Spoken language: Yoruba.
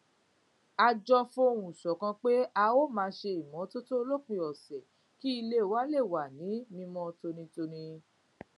a jọ fohùn ṣòkan pé a ó máa ṣe ìmótótó lópin òsè kí ilé wa lè wà ní mímó tónítóní